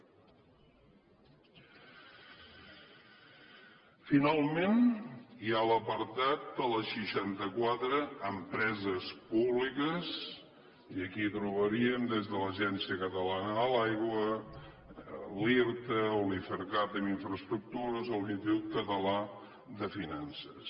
finalment hi ha l’apartat de les seixantaquatre empreses públiques i aquí trobaríem des de l’agència catalana de l’aigua l’irta o l’ifercat en infraestructures o l’institut català de finances